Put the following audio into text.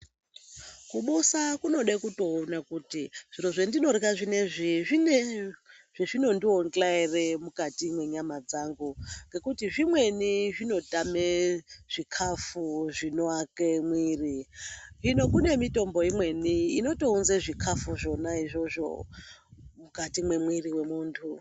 Kubusa kunode kutoona kuti zvirozvendinorya zvinoizvi zvine zvezvinondionhla ere mukati mwenyama dzangu ngekuti zvimweni zvinotame zvikafu zvinoake mwiri. Hino kune mitombo imweni inotounze zvikafu zvona izvozvo mukati memwiri wemuntu.